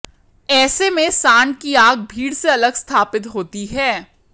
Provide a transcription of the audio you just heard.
ऐसे में सांड की आंख भीड़ से अलग स्थापित होती है